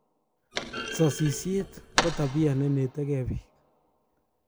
Sasisiet ko tabia nenetegen pik